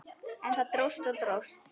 En það dróst og dróst.